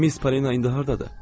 Miss Palina indi hardadır?